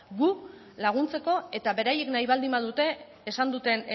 gu laguntzeko eta beraiek nahi baldin badute